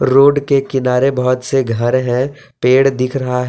Road के किनारे बहुत से घर है पेड़ दिख रहा है।